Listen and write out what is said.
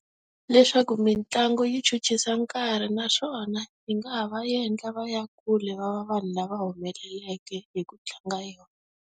Leswaku mitlangu yi chuchisa nkarhi naswona, yi nga ha va endla va ya kule va va vanhu lava humeleleke hi ku tlanga yona.